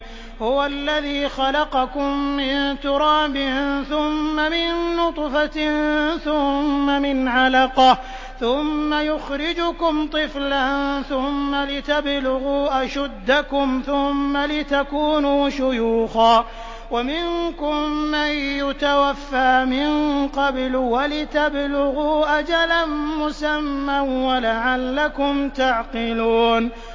هُوَ الَّذِي خَلَقَكُم مِّن تُرَابٍ ثُمَّ مِن نُّطْفَةٍ ثُمَّ مِنْ عَلَقَةٍ ثُمَّ يُخْرِجُكُمْ طِفْلًا ثُمَّ لِتَبْلُغُوا أَشُدَّكُمْ ثُمَّ لِتَكُونُوا شُيُوخًا ۚ وَمِنكُم مَّن يُتَوَفَّىٰ مِن قَبْلُ ۖ وَلِتَبْلُغُوا أَجَلًا مُّسَمًّى وَلَعَلَّكُمْ تَعْقِلُونَ